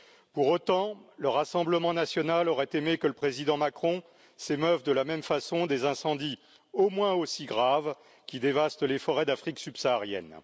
Pour autant, le rassemblement national aurait aimé que le président Macron s'émeuve de la même façon des incendies au moins aussi graves qui dévastent les forêts d'Afrique subsaharienne.